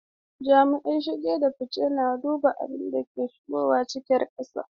Jami'in shige da fice na duba abin da ke shigowa cikin kasar.